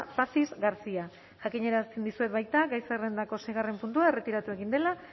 pazis garcia ortega jakinarazten dizuet baita gai zerrendako seigarren puntua erretiratu egin dela